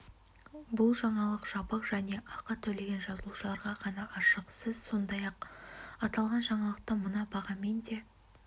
бұл жаңалық жабық және ақы төлеген жазылушыларға ғана ашық сіз сондай-ақ аталған жаңалықты мына бағамен де